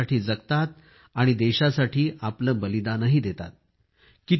हे देशासाठी जगतात आणि देशासाठी आपले बलिदानही देतात